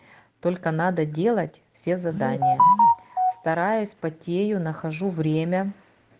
только надо делать все задания стараюсь потею нахожу время